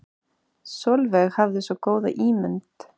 Sólveig hafði svo góða ímynd.